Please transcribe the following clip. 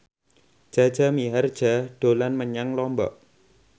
Jaja Mihardja dolan menyang Lombok